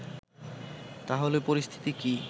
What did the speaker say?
তা হলে পরিস্থিতি কি